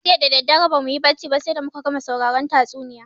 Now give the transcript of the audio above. Jiya dadadare bamuyi barci ba sai da muka gama sauraron tatsuniya